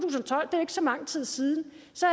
er ikke så lang tid siden